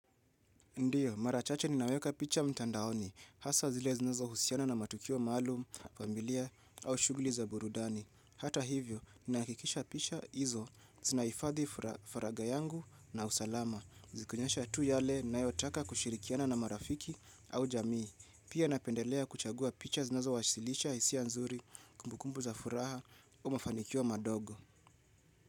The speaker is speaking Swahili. Ndiyo, mara chache ninaweka picha mtandaoni, hasa zile zinazohusiana na matukio maalum, familia, au shughuli za burudani. Hata hivyo, ninahakikisha picha hizo zinahifadhi faraga yangu na usalama. Zikionyesha tu yale ninayotaka kushirikiana na marafiki au jamii. Pia napendelea kuchagua picha zinazowasilisha hisia nzuri, kumbukumbu za furaha, au mafanikio madogo.